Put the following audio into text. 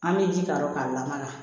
An bɛ ji k'a la ka lamaga